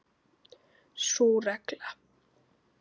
Sú regla.